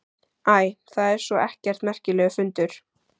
Æ, það er svo sem ekkert merkilegur fundur.